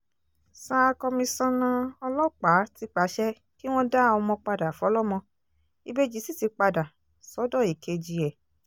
sa komisanna ọlọ́pàá ti pàṣẹ kí wọ́n dá ọmọ padà fọlọ́mọ ìbejì sì ti padà sọ́dọ̀ èkejì ẹ̀